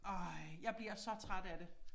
Ej jeg bliver så træt af det